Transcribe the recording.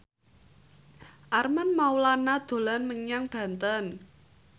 Armand Maulana dolan menyang Banten